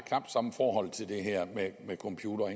samme forhold til det her med computere